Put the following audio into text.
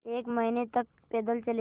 एक महीने तक पैदल चलेंगे